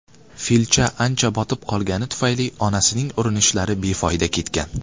Filcha ancha botib qolgani tufayli onasining urinishlari befoyda ketgan.